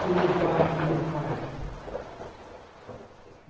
Do meu pai, do meu pai.